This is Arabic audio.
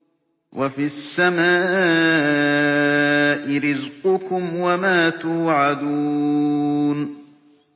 وَفِي السَّمَاءِ رِزْقُكُمْ وَمَا تُوعَدُونَ